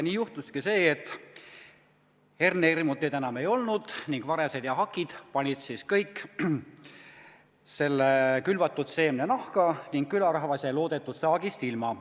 Nii juhtuski see, et hernehirmuteid enam ei olnud, varesed ja hakid aga panid kogu külvatud seemne nahka ning külarahvas jäi loodetud saagist ilma.